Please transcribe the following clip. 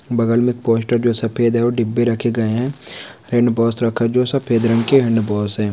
बगल में एक पोस्टर जो सफेद है और बगल में डिब्बे रखे गए हैं। हैंडवाश रखा है जो सफेद हैंडवाश हैं।